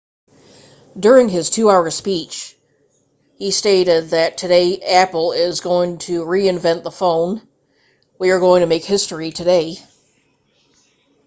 during his 2 hour speech he stated that today apple is going to reinvent the phone we are going to make history today